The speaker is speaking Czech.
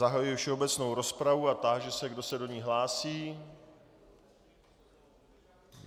Zahajuji všeobecnou rozpravu a táži se, kdo se do ní hlásí.